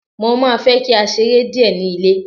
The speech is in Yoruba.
mo ma fe ki a sere Die ni ilé